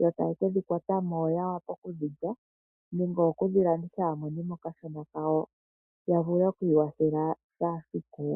yo taye ke dhi kwata mo ya vule okudhi lya nenge okudhi landitha ya mone mo okashona kawo ya vule oku ikwathela kehe esiku.